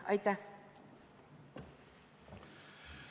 Aitäh!